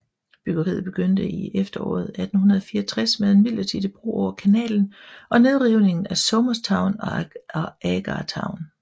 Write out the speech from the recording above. Byggeriet begyndte i efteråret 1864 med en midlertidig bro over kanalen og nedrivningen af Somers Town og Agar Town